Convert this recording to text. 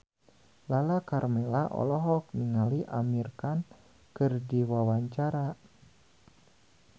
Lala Karmela olohok ningali Amir Khan keur diwawancara